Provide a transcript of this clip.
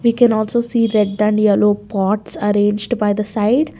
We can also see red and yellow pots arranged by the side.